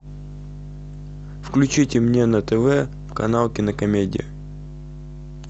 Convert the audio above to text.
включите мне на тв канал кинокомедия